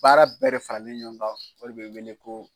Baara bɛɛ de faralen ɲɔɔn ka o de be weele ko